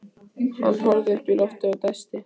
ef illa stendur á fyrir þér.